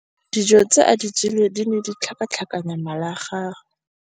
Dijô tse a di jeleng di ne di tlhakatlhakanya mala a gagwe.